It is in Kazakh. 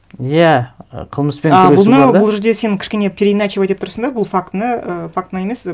иә і қылмыспен ы бұны бұл жерде сен кішкене переиначивать етіп тұрсың да біл фактіні і фактіні емес